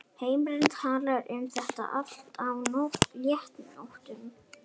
Heimir talaði um það allt saman á léttu nótunum.